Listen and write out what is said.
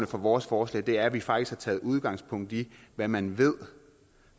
for vores forslag er at vi faktisk har taget udgangspunkt i hvad man